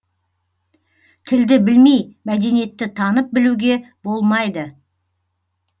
тілді білмей мәдениетті танып білуге болмайды